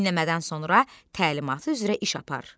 Dinləmədən sonra təlimatı üzrə iş apar.